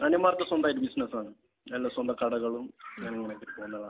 അനിയന്മാർക്കൊക്കെ സ്വന്തമായിട്ട് ബിസിനസ്സാണ്. എല്ലാ സ്വന്തം കടകളും